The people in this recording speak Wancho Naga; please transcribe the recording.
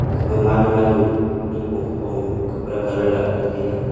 ekha ma mali mali nepong khatpong kapara calar lah lah le tai a.